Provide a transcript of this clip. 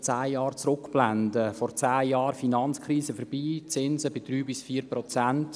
Vor zehn Jahren war die Finanzkrise vorüber und die Zinsen lagen bei 3–4 Prozent.